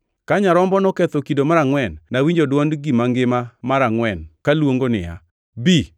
Ka Nyarombo noketho kido mar angʼwen, nawinjo dwond gima ngima mar angʼwen kaluongo niya, “Bi!”